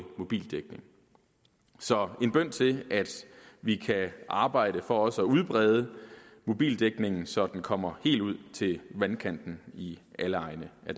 mobildækning så en bøn til at vi kan arbejde for også at udbrede mobildækningen så den kommer helt ud til vandkanten i alle egne af